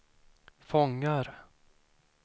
fångar